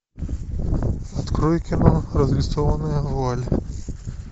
открой кино разрисованная вуаль